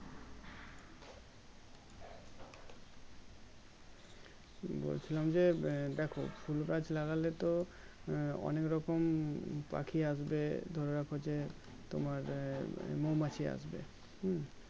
বলছিলাম যে আহ দেখো ফুল গাছ লাগালেতো আহ অনেক রকম পাখি আসবে ধরে রাখো যে তোমার আহ মৌমাছি আসবে হুম